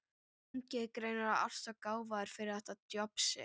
ungi er greinilega alltof gáfaður fyrir þetta djobb sitt.